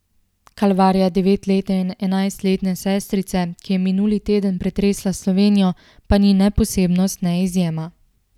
Kalvarija devetletne in enajstletne sestrice, ki je minuli teden pretresla Slovenijo, pa ni ne posebnost ne izjema.